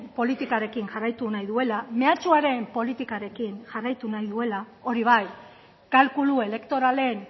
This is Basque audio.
politikarekin jarraitu nahi duela mehatxuaren politikaren jarraitu nahi duela hori bai kalkulu elektoralen